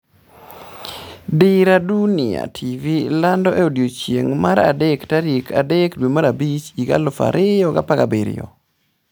Dira Dunia TV lando e odiechieng' mar adek tarik 03.05.2017